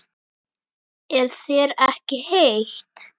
Er þér ekki heitt?